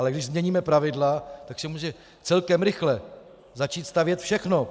Ale když změníme pravidla, tak se může celkem rychle začít stavět všechno.